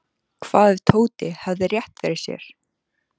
Hvað ef Tóti hefði rétt fyrir sér?